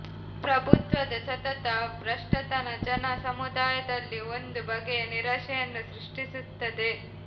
ಪ್ರಭುತ್ವದ ಸತತ ಭ್ರಷ್ಟತನ ಜನ ಸಮುದಾಯದಲ್ಲಿ ಒಂದು ಬಗೆಯ ನಿರಾಶೆಯನ್ನು ಸೃಷ್ಟಿಸುತ್ತದೆ